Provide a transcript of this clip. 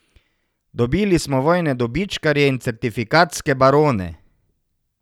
Dobili smo vojne dobičkarje in certifikatske barone.